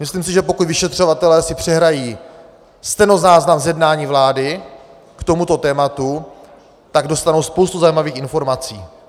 Myslím si, že pokud vyšetřovatelé si přehrají stenozáznam z jednání vlády k tomuto tématu, tak dostanou spoustu zajímavých informací.